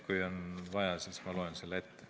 Kui on vaja, siis ma loen selle ette.